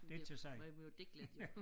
Det man må jo digte lidt jo